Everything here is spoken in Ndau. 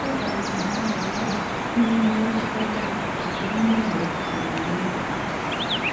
Uye kana muntu arwara anoenda kuchipatara kuti aone rubetsero ngenguwa.